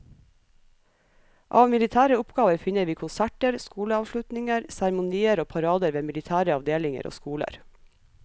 Av militære oppgaver finner vi konserter, skoleavslutninger, seremonier og parader ved militære avdelinger og skoler.